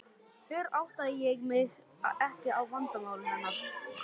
Fyrr áttaði ég mig ekki á vandamáli hennar.